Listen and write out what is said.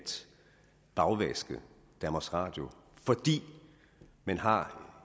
bagvaske danmarks radio fordi man har